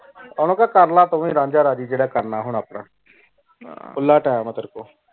ਓਹਨੁ ਕਹ ਕਰ੍ਲਾ ਤੂ ਵੀ ਰਾਂਝਾ ਰਾਜ਼ੀ ਜੇੜਾ ਕਰਨਾ ਹੁਣ ਆਪਣਾ ਖੁਲਾ time ਤੇਰੀ ਕੋਲ